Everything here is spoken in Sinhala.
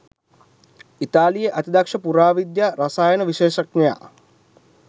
ඉතාලියේ අතිදක්ෂ පුරාවිද්‍යා රසායන විශේෂඥයා